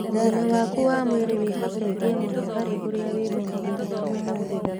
Ũgima waku wa mwĩrĩ wĩhocetie mũno harĩ ũrĩa wĩmenyagĩrĩra ũmũthĩ.